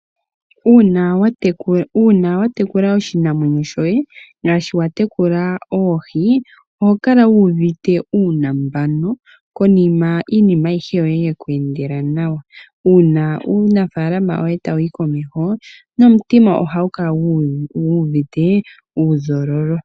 Uuna watekula oshinamwenyo shoye ngaashi watekula oohi oho kala wuuvite uunambano konima iinima ayihe yoye yeku endela nawa. Uuna uunafalama woye tawu yi komeho nomutima ohagu guuvite uuzololo.